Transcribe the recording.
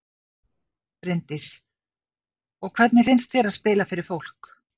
Bryndís: Og hvernig finnst þér að spila fyrir fólk?